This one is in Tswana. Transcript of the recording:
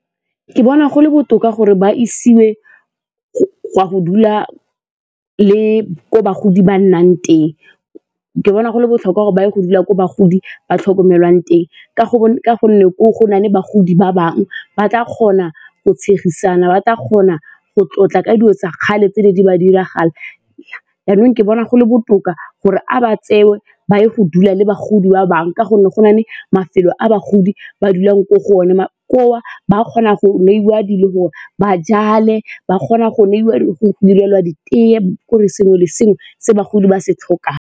Ke bona gole botoka gore ba isiwe go a go dula le ko bagodi ba nnang teng, ke bona go le botlhokwa gore ba ye go dula ko bagodi ba tlhokomelwang teng ka gonne ko gonne bagodi ba bangwe ba tla kgona go tshegisana, ba tla kgona go tlotla ka dilo tsa kgale tse ne di ba diragalelang, jaanong ke bona go le botoka gore a ba tseiwe ba ye go dula le bagodi wa bangwe ka gonne go na le mafelo a bagodi ba dulang ko go one, ba kgona go neiwa le gore ba jale, ba kgona go ntshiwa, go direlwa ditee ke'ore sengwe le sengwe se bagodi ba se tlhokang.